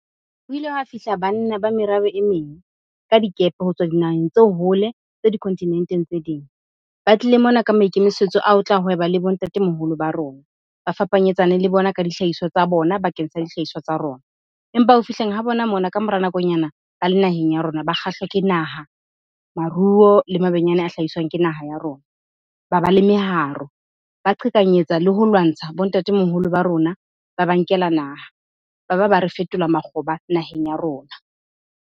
Ho ile hwa fihla banna ba merabe e meng ka dikepe ho tswa dinaheng tse hole, tse dikontinenteng tse ding. Ba tlile mona ka maikemisetso a ho tla hweba le bo ntatemoholo ba rona, ba fapanyetsane le bona ka dihlahiswa tsa bona bakeng sa dihlahiswa tsa rona. Empa ho fihleng ha bona mona ka mora nakonyana ba le naheng ya rona, ba kgahlwa ke naha, maruo le mabenyane a hlahiswang ke naha ya rona. Ba ba le meharo, ba qhekanyetsa le ho lwantsha bo ntate moholo ba rona, ba ba nkela naha. Ba ba ba re fetola makgoba naheng ya rona.